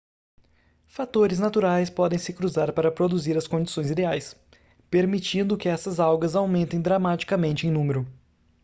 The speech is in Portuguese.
fatores naturais podem se cruzar para produzir as condições ideais permitindo que essas algas aumentem dramaticamente em número